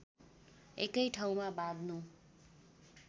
एकै ठाउँमा बाँध्नु